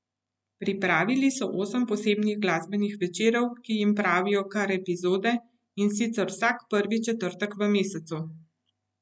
Pripravili so osem posebnih glasbenih večerov, ki jim pravijo kar epizode, in sicer vsak prvi četrtek v mesecu.